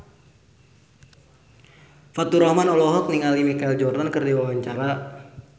Faturrahman olohok ningali Michael Jordan keur diwawancara